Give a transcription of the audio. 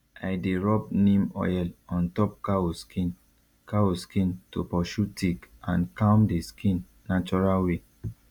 i dey rub neem oil on top cow skin cow skin to pursue tick and calm the skin natural way